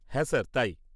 হ্যাঁ স্যার, তাই।